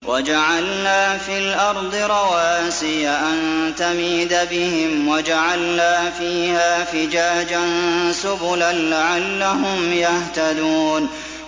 وَجَعَلْنَا فِي الْأَرْضِ رَوَاسِيَ أَن تَمِيدَ بِهِمْ وَجَعَلْنَا فِيهَا فِجَاجًا سُبُلًا لَّعَلَّهُمْ يَهْتَدُونَ